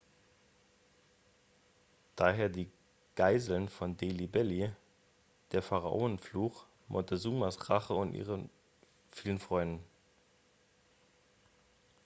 daher die geißeln von delhi belly der pharaonenfluch montezumas rache und ihre vielen freunde